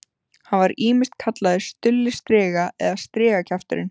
Hann var ýmist kallaður Stulli striga eða strigakjafturinn.